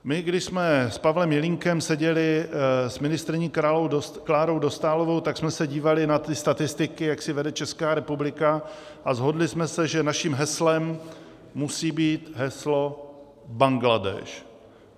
My když jsme s Pavlem Jelínkem seděli s ministryní Klárou Dostálovou, tak jsme se dívali na ty statistiky, jak si vede Česká republika, a shodli jsme se, že naším heslem musí být heslo Bangladéš.